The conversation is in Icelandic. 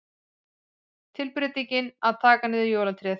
Tilbreytingin að taka niður jólatréð.